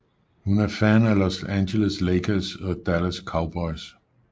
Hun er fan af Los Angeles Lakers og Dallas Cowboys